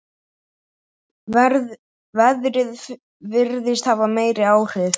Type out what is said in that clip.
Veðrið virðist hafa meiri áhrif.